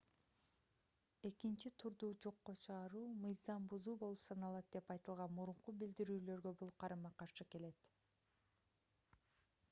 экинчи турду жокко чыгаруу мыйзам бузуу болуп саналат деп айтылган мурунку билдирүүлөргө бул карама-каршы келет